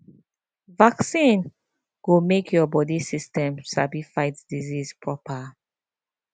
vaccine go make your body system sabi fight disease proper